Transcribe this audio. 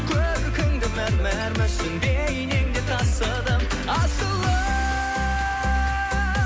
көркіңді мәмәр мүсін бейнеңде тасыдым асылым